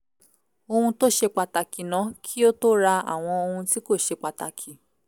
ohun tó ṣe pàtàkì ná kí ó tó ra àwọn ohun tí kò ṣe pàtàkì